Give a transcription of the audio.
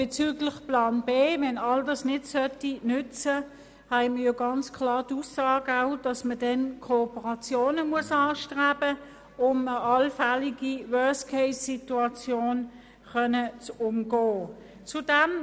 Bezüglich des Plans B, der zum Tragen käme, wenn alles nichts nützen sollte, haben wir ganz klar die Aussage erhalten, dass man dann Kooperationen anstreben müsste, um eine allfällige Worst-Case-Situation umgehen zu können.